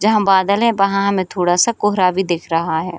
जहां बादल है वहां हमे थोड़ा सा कोहरा भी दिख रहा है।